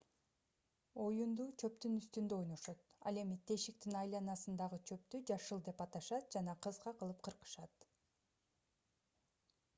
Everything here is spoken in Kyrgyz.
оюнду чөптүн үстүндө ойношот ал эми тешиктин айланасындагы чөптү жашыл деп аташат жана кыска кылып кыркышат